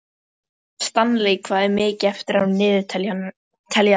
Stanley, hvað er mikið eftir af niðurteljaranum?